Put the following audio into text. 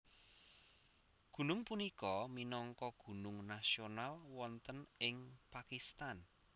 Gunung punika minangka gunung nasional wonten ing Pakistan